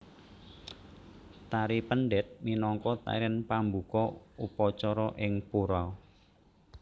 Tari Pendet minangka tarian pambuka upacara ing pura